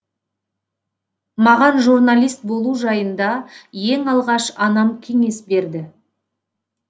маған журналист болу жайында ең алғаш анам кеңес берді